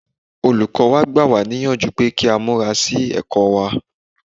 Olùkọ́ wa gbà wá níyànjú pé ká múra sí ẹ̀kọ́ wá.